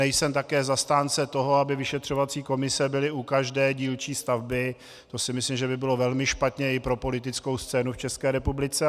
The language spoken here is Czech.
Nejsem také zastánce toho, aby vyšetřovací komise byly u každé dílčí stavby, to si myslím, že by bylo velmi špatně i pro politickou scénu v České republice.